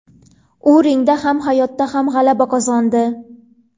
U ringda ham, hayotda ham g‘alaba qozondi.